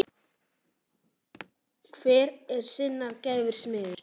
Hver er sinnar gæfu smiður